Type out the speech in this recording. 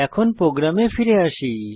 এখন প্রোগ্রামে ফিরে আসি